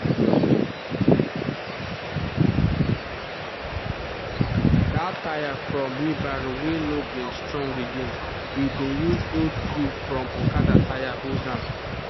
that tire for wheelbarrow wey no bin strong again we bin use old tube from okada tire hold am